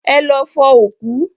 Ẹ lọ fọ òkú!